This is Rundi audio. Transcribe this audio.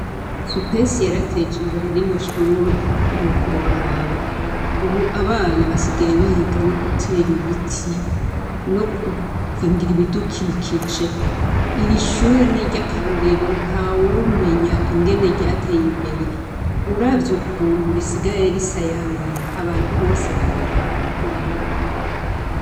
Supesi yarateje imbere rino shure ntiworaba, ubu abana basigaye no gutera ibiti no gukingira ibidukikije, iri shure ni iryakarorero ntawomenya ingene ryateye imbere, uravye ukuntu risigaye risayangana abantu bose barabiraba bakumirwa.